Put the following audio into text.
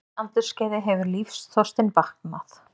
því aldursskeiði hefur lífsþorstinn vaknað.